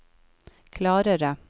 klarere